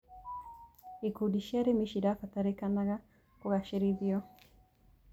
Ikundi cia arĩmi ciabataranĩkaga kũgacĩrithio.